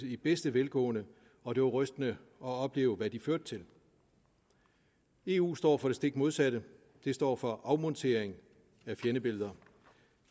i bedste velgående og det var rystende at opleve hvad de førte til eu står for det stik modsatte det står for afmontering af fjendebilleder